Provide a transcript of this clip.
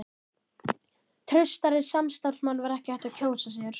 Traustari samstarfsmann var ekki hægt að kjósa sér.